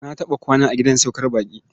Na taɓa kwana a gidan saukar baƙi.